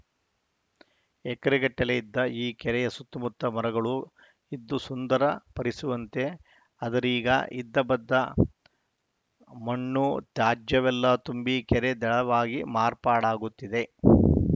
ಎಕರೆಗಟ್ಟಲೇ ಇದ್ದ ಈ ಕೆರೆಯ ಸುತ್ತಮುತ್ತ ಮರಗಳು ಇದ್ದು ಸುಂದರ ಪರಿಸುವಂತೆ ಆದರೀಗ ಇದ್ದಬದ್ದ ಮಣ್ಣು ತ್ಯಾಜ್ಯವೆಲ್ಲ ತುಂಬಿ ಕೆರೆ ದಡವಾಗಿ ಮಾರ್ಪಾಡಾಗುತ್ತಿದೆ